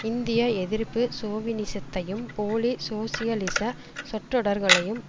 இந்திய எதிர்ப்பு சோவினிசத்தையும் போலி சோசியலிச சொற்றொடர்களையும்